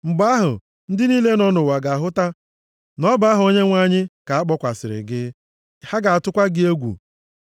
Mgbe ahụ, ndị niile nọ nʼụwa ga-ahụta na ọ bụ aha Onyenwe anyị ka a kpọkwasịrị gị. Ha ga-atụkwa gị egwu.